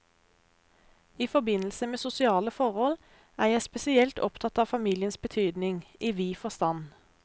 I forbindelse med sosiale forhold, er jeg spesielt opptatt av familiens betydning, i vid forstand.